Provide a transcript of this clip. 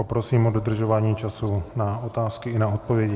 Poprosím o dodržování času na otázky i na odpovědi.